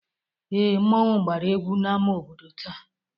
Ee, mmọnwụ gbara egwu n'ama obodo taa.